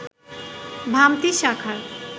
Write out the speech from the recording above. ভামতী শাখার